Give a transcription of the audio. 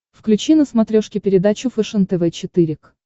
включи на смотрешке передачу фэшен тв четыре к